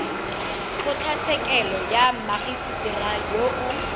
kgotlatshekelo ya mmagisetera yo o